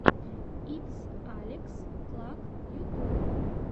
итс алекс клак ютуб